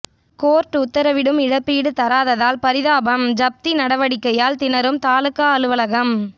court உத்தரவிட்டும் இழப்பீடு தராததால் பரிதாபம்ஜப்தி நடவடிக்கையால் திணறும் தாலுகா அலுவலகம்